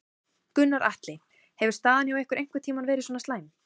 Gunnar Atli: Hefur staðan hjá ykkur einhvern tímann verið svona slæm?